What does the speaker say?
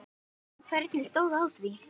En hvernig stóð á því?